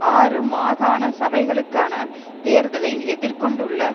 ஆறு மாகாண சபைகளுக்கான தேர்தலை எதிர் கொண்டுள்ள